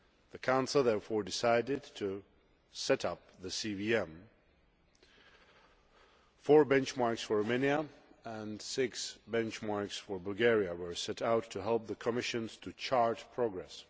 The Council therefore decided to set up the CVM four benchmarks for Romania and six benchmarks for Bulgaria were set out to help the Commission to chart progress.